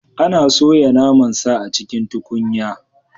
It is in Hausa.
Ana soya naman sa a cikin tukunya?